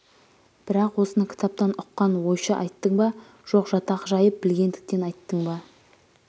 бірақ осыны кітаптан ұққан ойша айттың ба жоқ жатақ жайын білгендіктен айттың ба